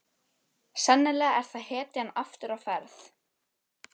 Sennilega er það hetjan aftur á ferð.